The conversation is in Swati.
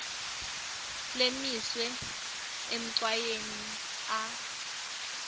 lemiswe encenyeni a